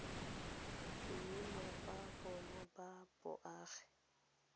boemo ba bona ba boagi